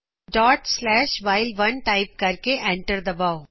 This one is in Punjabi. ਡੋਟ ਸਲੈਸ਼ ਵਾਇਲ 1 ਡੋਟ ਸਲੈਸ਼ ਵਾਈਲ 1 ਟਾਇਪ ਕਰਕੇ ਐਂਟਰ ਦ ਬਾਓ